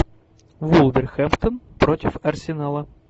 вулверхэмптон против арсенала